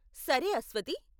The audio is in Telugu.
సరే, అస్వతి.